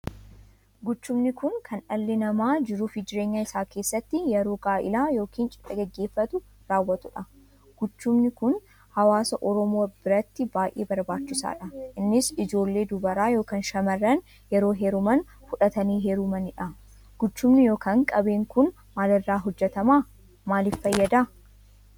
Guchumni kun kan dhalli namaa jiruuf jireenya isaa keessatti yeroo gaa'ela yookiin cidha geggeeffatu raawwatuudha. guchumni kun hawaasa Oromoo biratti baay'ee barbaachisaaddha. innis ijoollee dubaraa ykn shamarran yeroo heeruman fudhatanii heerumaniidha. guchumni ykn qabeen kun maalirraa hojjetaman? maaliif fayyada?